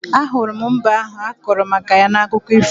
Ahụrụ m mbe ahụ akọrọ maka ya n'akụkọ ifo